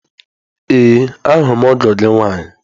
Ee ahụla m ọgọ gị nwaanyị.